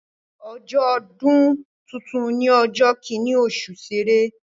Ọjọ́ ọdún tuntun ni ọjọ́ kíní oṣù Ṣẹrẹ